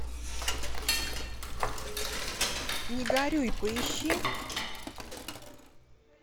не горюй поищи